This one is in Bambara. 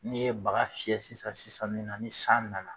N'i ye baga fiyɛ sisan sisan nin na ni san nana